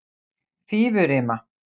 Fífurima